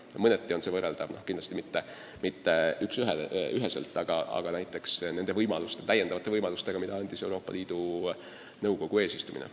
Mõneti on see võrreldav – kindlasti küll mitte üksüheselt – nende täiendavate võimalustega, mida andis meile Euroopa Liidu Nõukogu eesistumine.